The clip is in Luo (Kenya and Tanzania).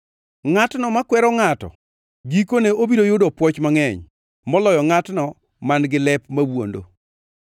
Ngʼatno makwero ngʼato gikone obiro yudo pwoch mangʼeny moloyo ngʼatno man-gi lep mawuondo.